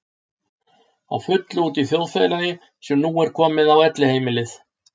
Á fullu úti í þjóðfélagi sem nú er komið á Elliheimilið.